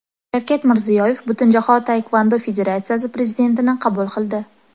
Shavkat Mirziyoyev Butunjahon taekvondo federatsiyasi prezidentini qabul qildi.